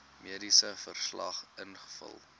mediese verslag invul